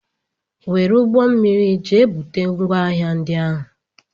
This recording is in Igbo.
Were ụgbọmmiri jee bute ngwaahịa ndị ahụ!